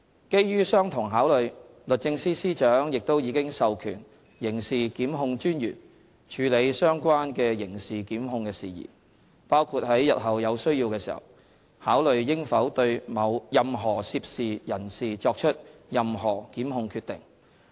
基於相同考慮，律政司司長亦已授權刑事檢控專員處理相關的刑事檢控的事宜，包括在日後有需要時考慮應否對任何涉事人士作出任何檢控決定。